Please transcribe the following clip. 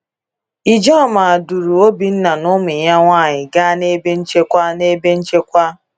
Ijoma duru Obinna na ụmụ ya nwanyị gaa n’ebe nchekwa. n’ebe nchekwa.